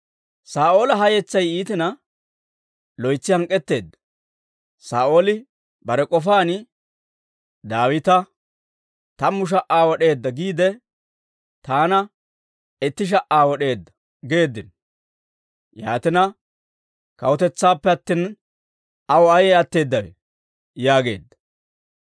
Saa'ooli ha yetsay iitina, loytsi hank'k'etteedda; Saa'ooli bare k'ofaan, «Daawita, ‹Tammu sha"aa wod'eedda› giide, taana, ‹itti sha"aa wod'eedda› geeddino; yaatina, kawutetsaappe attina aw ayee atteedawe?» yaageedda.